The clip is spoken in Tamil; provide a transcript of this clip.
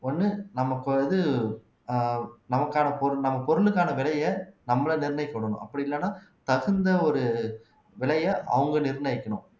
ஒண்ணு நமக்கு வந்து நமக்கான பொருள் நம்ம பொருளுக்கான விலையை நம்மளை நிர்ணியக்க விடணும் அப்படி இல்லைன்னா தகுந்த ஒரு விலையை அவங்க நிர்ணயிக்கணும்